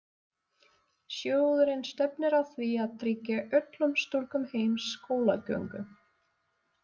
Sjóðurinn stefnir að því að tryggja öllum stúlkum heims skólagöngu.